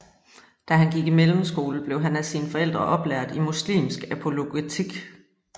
Da han gik i mellemskole blev han af sine forældre oplært i muslimsk apologetik